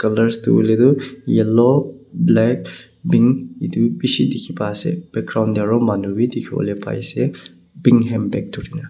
colors tu hoile tu yellow black pink itu bishi dikhi pai ase background te aro manu bi dikhibole pai ase pink hand bag dhuri na.